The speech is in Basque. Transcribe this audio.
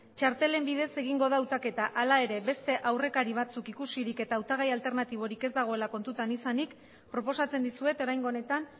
txartelen bidez egingo da hautaketa hala ere beste aurrekari batzuk ikusirik eta hautagai alternatiborik ez dagoela kontutan izanik proposatzen dizuet oraingo honetan